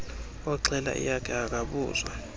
oxhela eyakhe akabuzwa